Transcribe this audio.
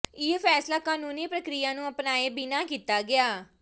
ਇਹ ਫ਼ੈਸਲਾ ਕਾਨੂੰਨੀ ਪ੍ਰਕਿਰਿਆ ਨੂੰ ਅਪਣਾਏ ਬਿਨਾਂ ਕੀਤਾ ਗਿਆ